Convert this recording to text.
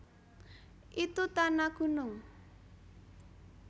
Itu ta na gunung